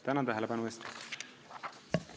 Tänan tähelepanu eest!